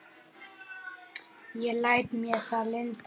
Ég læt mér það lynda.